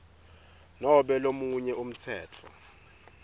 nobe lomunye umtsetfo